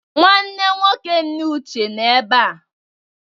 Nwanne nwoke nne Uche nọ ebe a.